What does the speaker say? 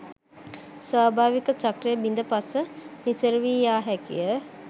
ස්වභාවික චක්‍රය බිඳ පස නිසරු වී යා හැකිය.